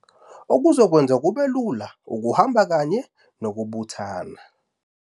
Okuzokwenza kube lula ukuhamba kanye nokubuthana.